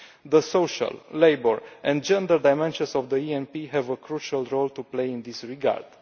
The social, labour and gender dimensions of the ENP have a crucial role to play in this regard.